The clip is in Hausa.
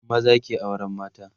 maza ke auran mata